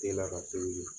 Te lakali